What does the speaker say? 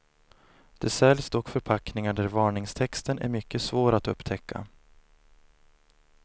Det säljs dock förpackningar där varningstexten är mycket svår att upptäcka.